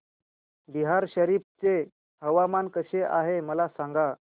बिहार शरीफ चे हवामान कसे आहे मला सांगा